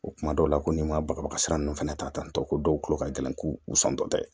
O kuma dɔw la ko n'i ma bɔlɔlɔsira ninnu fana ta tantɔ ko dɔw tulo ka gɛlɛn k'u santɔ dɛ